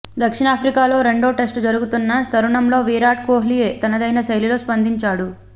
దక్షిణాఫ్రికాతో రెండో టెస్ట్ జరగనున్న తరుణంలో విరాట్ కోహ్లీ తనదైన శైలిలో స్పందించాడు